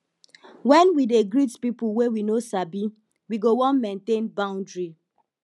when we dey greet pipo wey we no sabi we go wan maintain boundry